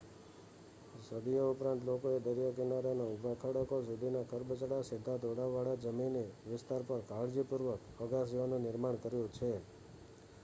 સદીઓ ઉપરાંત લોકોએ દરિયાકિનારાના ઊભા ખડકો સુધીના ખરબચડા સીધા ઢોળાવવાળા જમીની વિસ્તાર પર કાળજીપૂર્વક અગાશીઓનું નિર્માણ કર્યું છે